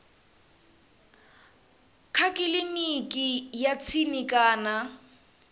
kha kiliniki ya tsini kana